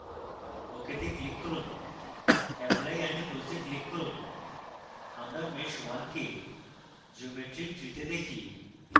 ok তে click করুন apply and close we click করুন আমরা mesh _ 1 কে geometry tree তে দেখি